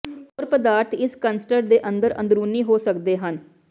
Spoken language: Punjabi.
ਹੋਰ ਪਦਾਰਥ ਇਸ ਕੰਸਟਰ ਦੇ ਅੰਦਰ ਅੰਦਰੂਨੀ ਹੋ ਸਕਦੇ ਹਨ